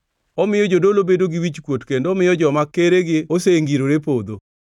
Omiyo jodolo bedo gi wichkuot kendo omiyo joma keregi osengirore podho.